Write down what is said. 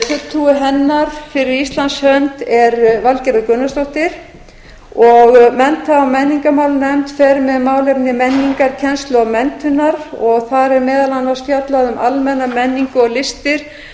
fulltrúi hennar fyrir íslands hönd er valgerður gunnarsdóttir og mennta og menningarmálanefnd fer með málefni menningarkennslu og menntunar og þar er meðal annars fjallað um almenna menningu og listir